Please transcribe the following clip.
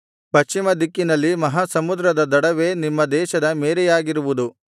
ಪಶ್ಚಿಮ ದಿಕ್ಕಿನಲ್ಲಿ ಮಹಾಸಮುದ್ರದ ದಡವೇ ನಿಮ್ಮ ದೇಶದ ಮೇರೆಯಾಗಿರುವುದು